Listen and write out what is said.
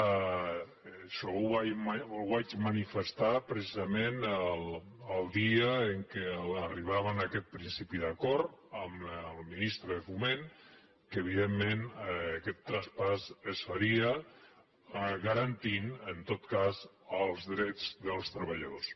això ho vaig manifestar precisament el dia en què arribàvem a aquest principi d’acord amb el ministre de foment que evidentment aquest traspàs es faria ga·rantint en tot cas els drets dels treballadors